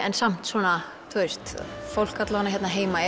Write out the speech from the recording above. en samt svona þú veist fólk hér heima